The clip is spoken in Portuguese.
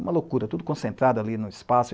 Uma loucura, tudo concentrado ali no espaço.